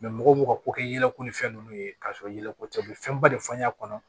mɔgɔw ka ko kɛ yɛlɛko ni fɛn ninnu ye k'a sɔrɔ yɛlɛko tɛ u bɛ fɛnba de fɔ n y'a kɔnɔ